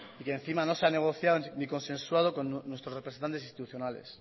y que encima no se ha negociado ni consensuado con nuestros representantes institucionales